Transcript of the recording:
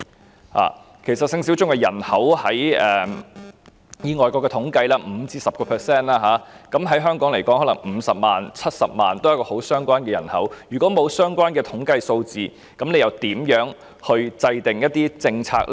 根據外國的統計，其實性小眾的人口為 5% 至 10%， 若以香港來說，可能有50萬人、70萬人為性小眾，也是相當多的人口，如果沒有相關的統計數字，政府又如何制訂政策？